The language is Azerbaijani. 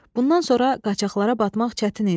Bundan sonra qaçaqlara batmaq çətin idi.